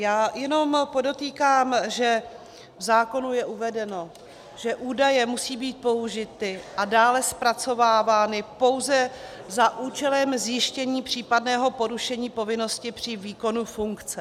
Já jenom podotýkám, že v zákonu je uvedeno, že údaje musí být použity a dále zpracovávány pouze za účelem zjištění případného porušení povinnosti při výkonu funkce.